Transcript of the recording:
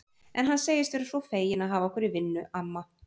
En hann segist vera svo feginn að hafa okkur í vinnu, amma